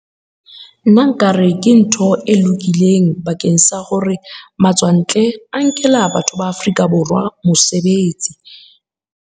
Nna nka re, ke ntho e lokileng bakeng sa hore matswantle a nkela batho ba Afrika Borwa mosebetsi.